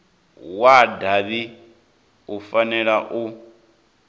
wa davhi u fanela u